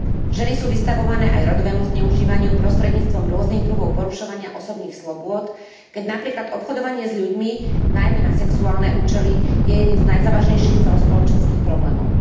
Ženy sú vystavované aj rodovému zneužívaniu prostredníctvom rôznych druhov porušovania osobných slobôd, keď napríklad obchodovanie s ľuďmi, najmä na sexuálne účely, je jedným z najzávažnejších celospoločenských problémov.